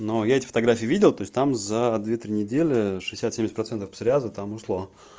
но я эти фотографии видел то есть там за две недели шестьдесят-семьдесят процентов псориазов там ушло